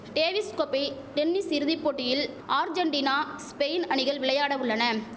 Davis கோப்பை tennis இறுதி போட்டியில் ஆர்ஜென்டீனா ஸ்பெயின் அணிகள் விளையாட உள்ளன